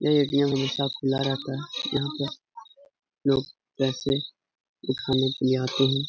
यह ए.टी.एम. हमेशा खुला रहता है। यहाँ पे लोग पैसे उठाने के लिए आते ही --